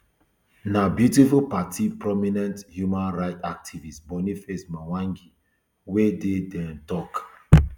na beautiful party prominent human rights activist boniface mwangi wey dey dia um tok